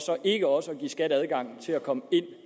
ikke også at give skat adgang til at komme ind